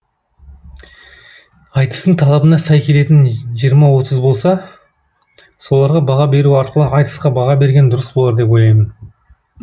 айтыстың талабына сай келетін жиырма отыз болса соларға баға беру арқылы айтысқа баға берген дұрыс болар деп ойлаймын